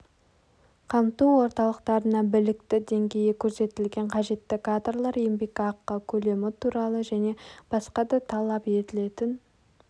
қамту орталықтарына біліктілік деңгейі көрсетілген қажетті кадрлар еңбекақы көлемі туралы және басқа да талап етілетін